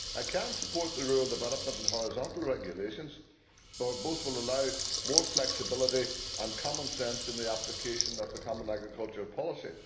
I can support the rural development and horizontal regulations, for both will allow for more flexibility and common sense in the application of the common agricultural policy.